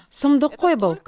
сұмдық қой бұл